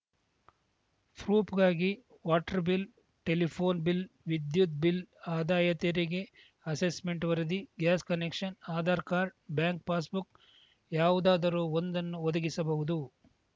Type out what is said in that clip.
ಪ್ರೂಫ್‌ಗಾಗಿ water bill telephone ವಿದ್ಯುತ್‌ bill ಆದಾಯ ತೆರಿಗೆ ಅಸೆಸ್‌ಮೆಂಟ್‌ ವರದಿ gas connection Aadhaar card bank passbook ಯಾವುದಾದರೂ ಒಂದನ್ನು ಒದಗಿಸಬಹುದು